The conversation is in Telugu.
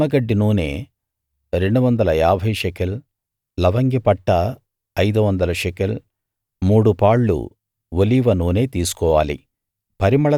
నిమ్మగడ్డి నూనె 250 షెకెల్ లవంగిపట్ట 500 షెకెల్ మూడు పాళ్ళు ఒలీవ నూనె తీసుకోవాలి